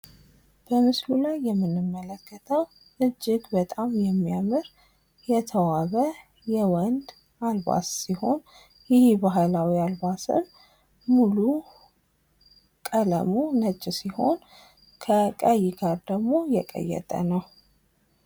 በምስሉ ላይ የምንመለከተው እጅግ የሚያምር የተዋበ የወንድ አልባስ ሲሆን ይህ ባህላዊ አልባስ ሙሉ ለሙሉ ቀለሙ ነጭ ሲሆን ከቀይ ቀለም ጋር ደግም የቀየጠ ነው ።